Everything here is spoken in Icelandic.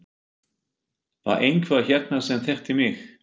Var einhver hérna sem þekkti mig?